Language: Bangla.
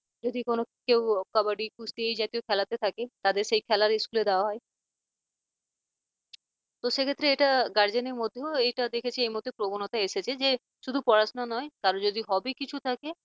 যদি কোন কেউ কাবাডি কুস্তি এই জাতীয় খেলাতে থাকে তাদের সেই খেলার school দেওয়া হয় তো সে ক্ষেত্রে এটা guardian র মধ্যেও এইটা দেখেছি প্রবণতা এসেছে যে শুধু পড়াশোনা নয় তার যদি হবি কিছু থাকে